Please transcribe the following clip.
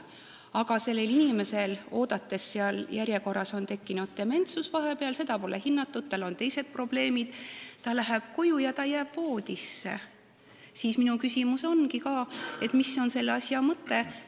Aga kui inimesel on oma järjekorra ootamise ajal tekkinud dementsus, mida pole hinnatud, tal on teised probleemid, ta läheb haiglast koju ja jääb voodisse, siis minu küsimus on ka, et mis on selle asja mõte.